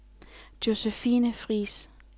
Josefine Friis